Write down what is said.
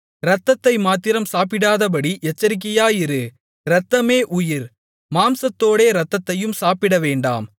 இரத்தத்தை மாத்திரம் சாப்பிடாதபடி எச்சரிக்கையாயிரு இரத்தமே உயிர் மாம்சத்தோடே இரத்தத்தையும் சாப்பிடவேண்டாம்